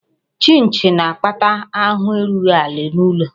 Chịnchị na-akpata ahụ erughị ala n'ụlọ